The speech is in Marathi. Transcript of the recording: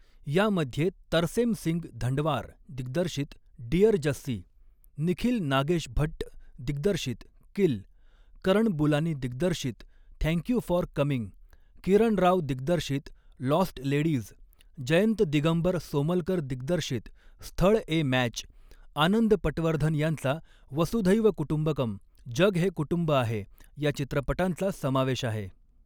यामध्ये तरसेम सिंग धंडवार दिग्दर्शित डिअर जस्सी, निखिल नागेश भट्ट दिग्दर्शित किल, करण बुलानी दिग्दर्शित thank you for coming, Kiran Rao दिग्दर्शित लॉस्ट लेडीज, जयंत दिगंबर सोमलकर दिग्दर्शित स्थळ ए मॅच, आनंद पटवर्धन यांचा वसुधैव कुटुंबकम जग हे कुटुंब आहे, या चित्रपटांचा समावेश आहे.